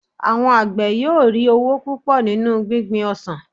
àwọn àgbẹ yíò ri owo púpò nínú gbingbin ọsàn